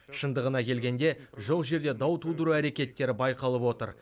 шындығына келгенде жоқ жерде дау тудыру әрекеттері байқалып отыр